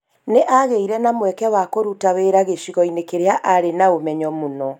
Nĩ aagĩire na mweke wa kũruta wĩra gĩcigo-inĩ kĩrĩa arĩ na ũmenyo mũno.